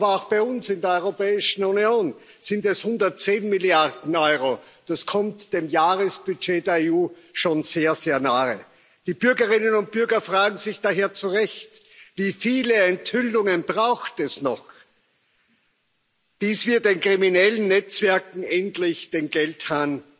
Aber auch bei uns in der Europäischen Union sind es 110 Milliarden Euro das kommt dem Jahresbudget der EU schon sehr, sehr nahe. Die Bürgerinnen und Bürger fragen sich daher zu Recht Wie viele Enthüllungen braucht es noch, bis wir den kriminellen Netzwerken endlich den Geldhahn